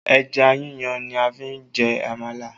Ẹja yíyan ni a fi jẹ amala